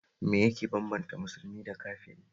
Me yake bambanta musulmi da kafiri